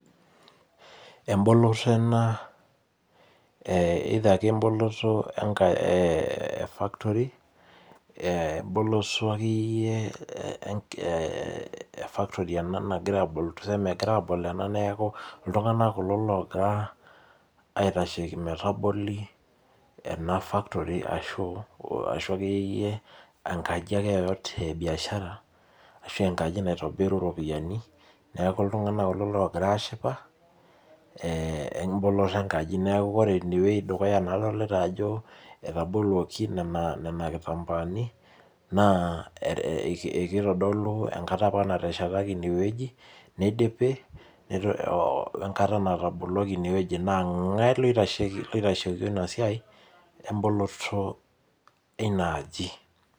Eboloto ena either ake eboloto ee factory eboloto akeyiyie ee factory nagirai abol ena neeku iltung'ana kulo logira aitasheki metaboli ena factory ashu ekeyieyie enkaji akeyie yoyote ee biashara ashu enkaji naitobiru iropiani neeku iltung'ana kulo kogira ashipa eboloto enkaji neeku ore dukuya adolita ajo etabuoloki nena kitambaa ni naa kitodolu enkata apa nateshetaki ineweji nidipi wee nkata nataboloki ineweji naa ing'e loitasheki duo ina siai eboloto ina aji.